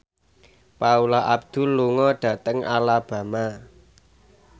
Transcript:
Paula Abdul lunga dhateng Alabama